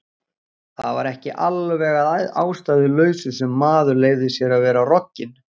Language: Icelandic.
Það var ekki alveg að ástæðulausu sem maður leyfði sér að vera rogginn.